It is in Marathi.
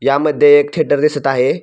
यामध्ये एक थियटर दिसत आहे.